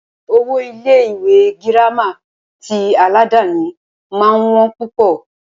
Owó Ilé ìwé gírámà tí aládàni máà ń wọ́n púpọ̀.